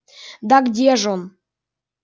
да где ж он